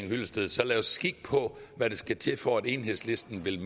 hyllested så lad os kigge på hvad der skal til for at enhedslisten vil